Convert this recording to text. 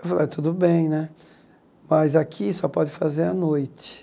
Eu falei, ah tudo bem né, mas aqui só pode fazer à noite.